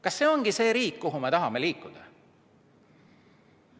Kas see ongi see riik, kuhu me tahame liikuda?